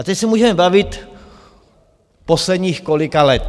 A teď se můžeme bavit - posledních kolika let?